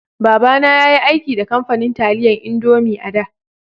Baba na ya yi aiki da kamfanin taliyan indomie a'da.